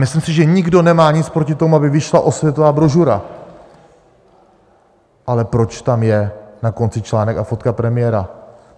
Myslím si, že nikdo nemá nic proti tomu, aby vyšla osvětová brožura, ale proč tam je na konci článek a fotka premiéra?